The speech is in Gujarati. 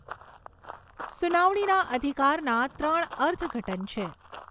સુનાવણીના અધિકારના ત્રણ અર્થઘટન છે.